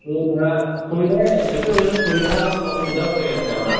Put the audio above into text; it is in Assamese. আৰু ধৰা সুবিধা ই এইটো অৱশ্য়ে সুবিধাৰ লগত অসুবিধাও হৈ আছে আমাৰ।